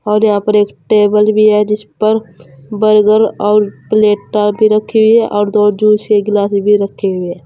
और यहां पर एक टेबल भी है जिस पर बर्गर और प्लेटा भी रखी हुई हैं और दो जूस के गिलास भी रखे हुई हैं।